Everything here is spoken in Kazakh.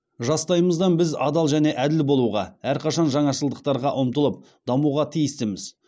жастайымыздан біз адал және әділ болуға әрқашан жаңашылдықтарға ұмтылып дамуға тиістіміз